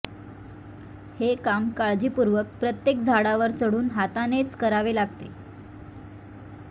हे काम काळजीपूर्वक प्रत्येक झाडावर चढून हातानेच करावे लागते